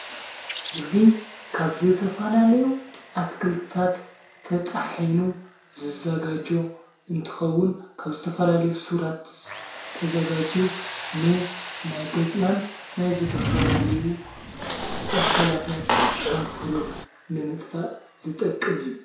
እዙ ካብ ዝተፋላለዩ ኣትክልታት ተጣሒኑ ዝዘጋጃ እንትኸውን ፤ካብ ዝተፈላለዩ ሱራት ተዘጋጅ ን ናይ ገጽናን ናይ ዘተፋላለዩ ኣካላትናት ዕምፍሩር ንምጥፋ ዝጠቅም እዩ።